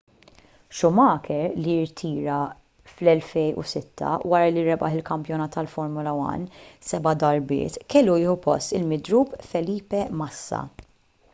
schumacher li rtira fl-2006 wara li rebaħ il-kampjonat tal-formula 1 seba' darbiet kellu jieħu post il-midrub felipe massa